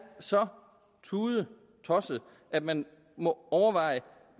så tudetosset at man må overveje